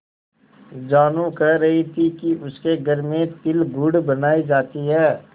जानू कह रही थी कि उसके घर में तिलगुड़ बनायी जाती है